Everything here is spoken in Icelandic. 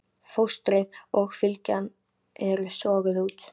Fóstrið og fylgjan eru soguð út.